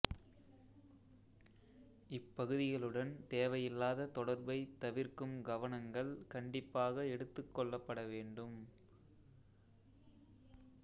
இப்பகுதிகளுடன் தேவையில்லாத தொடர்பை தவிர்க்கும் கவனங்கள் கண்டிப்பாக எடுத்துக்கொள்ளப்பட வேண்டும்